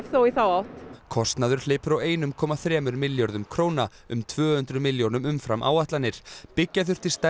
í þá átt kostnaður hleypur á einum komma þremur milljörðum króna um tvö hundruð milljónum umfram áætlanir byggja þurfti stærra